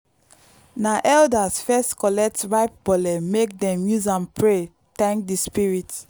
na elders first collect ripe bole make dem use am pray thank the spirits.